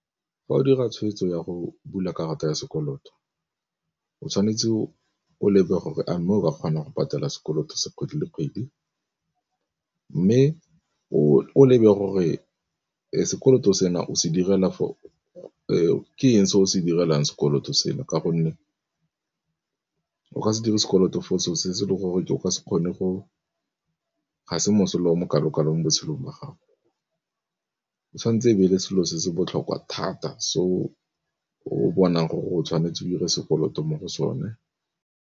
Fa o dira tshwetso ya go bula karata ya sekoloto, o tshwanetse o lebe gore a mme ba kgonang go patela sekoloto se kgwedi le kgwedi. Mme o lebe gore sekoloto sena o se direla ke eng se o se direlang sekoloto sena, ka gonne of ka se diri sekoloto fo selo leng gore o ka se kgone go, ga se mosola o makalokalo mo botshelong jwa gago. O tshwanetse e be e le selo se se botlhokwa thata se o bonang gore o tshwanetse o dire sekoloto mo go sone.